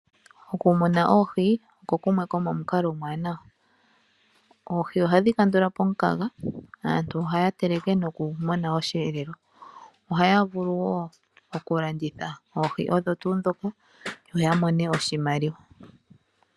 Okumuna oohi oko kumwe komomukalo omuwanawa. Oohi ohadhi kandula po omukaga, aantu ohaya teleke nokumona osheelelwa. Ohaya vulu wo okulanditha oohi odho tuu ndhoka yo yamone oshimaliwa.